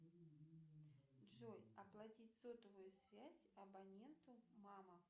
джой оплатить сотовую связь абоненту мама